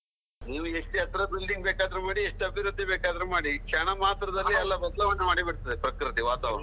ನೀವು ಎಷ್ಟೇ ಎತ್ತರ building ಬೇಕಾದ್ರು ಮಾಡಿ, ಎಷ್ಟು ಅಭಿವೃದ್ಧಿ ಬೇಕಾದ್ರು ಮಾಡಿ, ಕ್ಷಣಮಾತ್ರದಲ್ಲಿ ಎಲ್ಲ ಬದಲಾವಣೆ ಮಾಡಿ ಬಿಡ್ತದೆ, ಪ್ರಕೃತಿ ವಾತಾವರಣ.